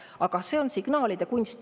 Aga see on signaalide kunst.